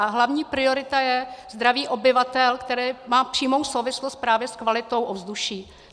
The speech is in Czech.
A hlavní priorita je zdraví obyvatel, které má přímou souvislost právě s kvalitou ovzduší.